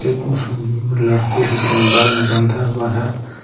उस लड़की से बाल बंधा हुआ है।